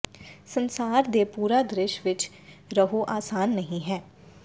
ਸੰਸਾਰ ਦੇ ਪੂਰਾ ਦ੍ਰਿਸ਼ ਵਿੱਚ ਰਹੋ ਆਸਾਨ ਨਹੀ ਹੈ